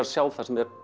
að sjá það sem er